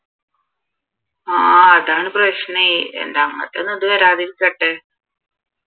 ആഹ് അതാണ് പ്രശ്നേയ് അതൊന്നും വരാതിരിക്കട്ടെ